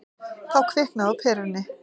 Þá kviknaði á perunni.